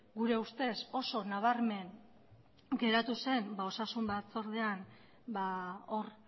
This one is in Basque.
gure ustez oso nabarmen geratu zen osasun batzordean hor